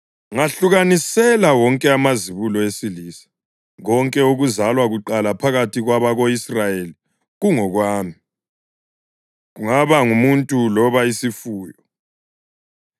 “Ngahlukanisela wonke amazibulo esilisa. Konke okuzalwa kuqala phakathi kwabako-Israyeli kungokwami, kungaba ngumuntu loba isifuyo.”